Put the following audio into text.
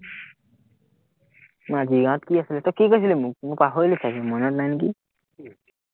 মাঝি গাঁৱত কি আছিলে, কি কৈছিলি মোক? মই পাহৰিলো চাগে মনত নাই নেকি